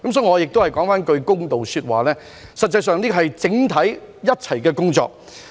所以，讓我說句公道話，這是一項整體工作。